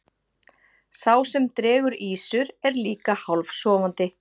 sá sem dregur ýsur er líka hálfsofandi